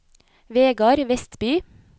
Vegard Westby